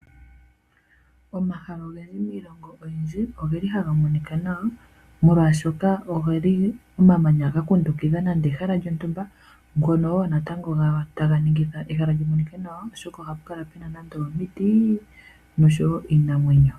Omahala ogendji miilonga oyindji oge li haga monika nawa molwashoka oge li omamanya ga kundukitha nande ehala lyotumba ngono wo natango ga taga ningitha ehala lyi monike nawa oshoka oha pu kala puna nando omiti osho wo iinamwenyo.